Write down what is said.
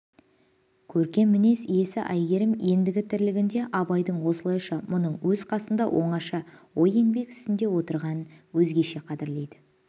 көркем мінез иесі әйгерім ендігі тірлігінде абайдың осылайша мұның өз қасында оңаша ой еңбек үстінде отырғанын өзгеше қадірлейді